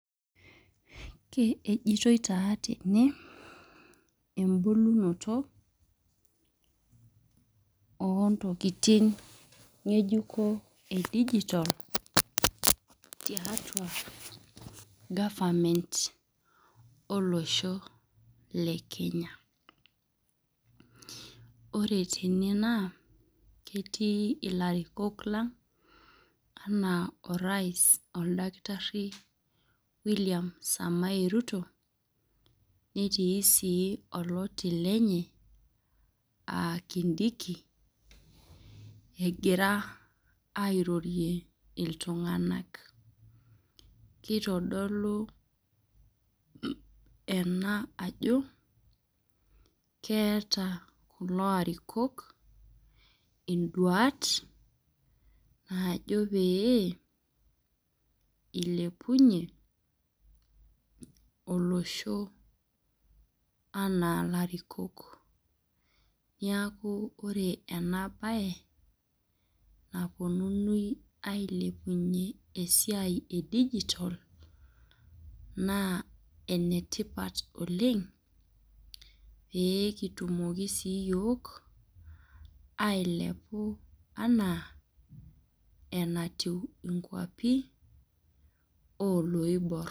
Ejitoi taa tene, ebulunoto ontokiting ng'ejuko edijitol, tiatua government olosho le Kenya. Ore tene naa, ketii ilarikok lang enaa orais oldakitarri William Samae Ruto, netii si oloti lenye, ah Kindiki, egira airorie iltung'anak. Kitodolu ena ajo, keeta kulo arikok iduat naajo pee, ilepunye olosho anaa larikok. Niaku ore enabae, naponunui ailepunye esiai edijitol, naa enetipat oleng, pekitumoki sii iyiok, ailepu anaa enatiu inkwapi oloibor.